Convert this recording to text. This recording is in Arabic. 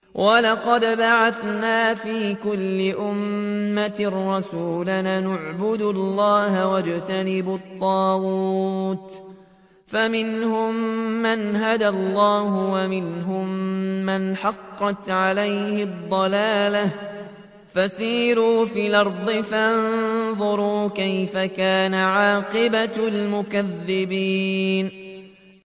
وَلَقَدْ بَعَثْنَا فِي كُلِّ أُمَّةٍ رَّسُولًا أَنِ اعْبُدُوا اللَّهَ وَاجْتَنِبُوا الطَّاغُوتَ ۖ فَمِنْهُم مَّنْ هَدَى اللَّهُ وَمِنْهُم مَّنْ حَقَّتْ عَلَيْهِ الضَّلَالَةُ ۚ فَسِيرُوا فِي الْأَرْضِ فَانظُرُوا كَيْفَ كَانَ عَاقِبَةُ الْمُكَذِّبِينَ